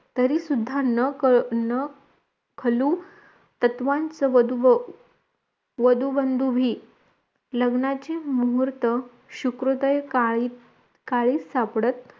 तरी सुद्धा न कळु न खलु तत्वांच वधुव वधुवंधवि लग्नाची मुहूर्त शुक्रोदय काळी काही सापडत